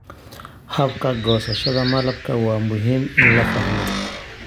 Habka goosashada malabka waa muhiim in la fahmo.